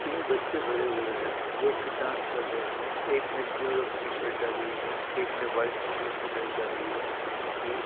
तीन बच्चे खड़े हुए हैं जो कि डांस कर रहे हैं। एक ने ब्लू रंग की शर्ट डाली हुई है एक ने व्हाइट कलर की ड्रेस डाली हुई है एक ने ब्लू --